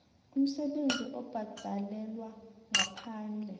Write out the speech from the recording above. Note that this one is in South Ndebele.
umsebenzi obhadalelwako ngaphandle